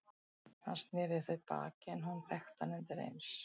Hann sneri í þau baki en hún þekkti hann undir eins.